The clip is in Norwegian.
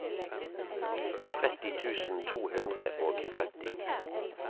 tretti tusen to hundre og tretti